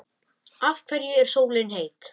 Af hverju er sólin heit?